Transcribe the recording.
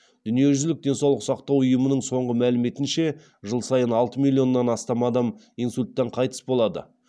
дүниежүзілік денсаулық сақтау ұйымының соңғы мәліметінше жыл сайын алты миллионнан астам адам инсульттан қайтыс болады